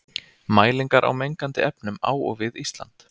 Mælingar á mengandi efnum á og við Ísland.